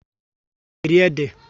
Ụnụ á na-eri ede?